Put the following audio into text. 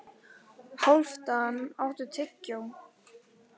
Hálfdan, áttu tyggjó?